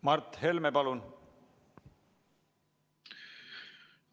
Mart Helme, palun!